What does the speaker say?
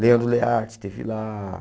Leandro Learte esteve lá.